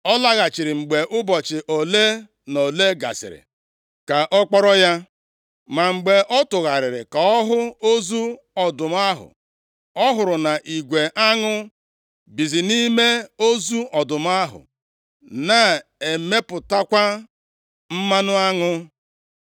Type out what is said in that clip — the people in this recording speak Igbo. Ọ laghachiri mgbe ụbọchị ole na ole gasịrị ka ọ kpọrọ ya. Ma mgbe ọ tụgharịrị ka ọ hụ ozu ọdụm ahụ, ọ hụrụ na igwe aṅụ bizi nʼime ozu ọdụm ahụ, na-emepụtakwa mmanụ aṅụ.